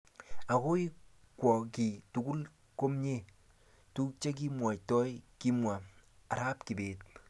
Akoi kwo kiy tukul komye tukchekimaktoi. Kimwa Arap Kibet